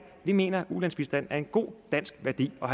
vi mener at ulandsbistand er en god dansk værdi og